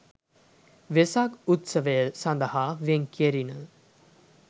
වෙසක් උත්සවය සඳහා වෙන් කෙරිණ